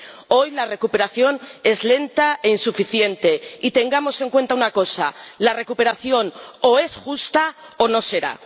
Hoy, la recuperación es lenta e insuficiente, y tengamos en cuenta una cosa la recuperación, o es justa o no será.